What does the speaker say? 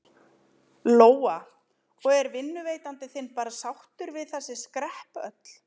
Lóa: Og er vinnuveitandi þinn bara sáttur við þessi skrepp öll?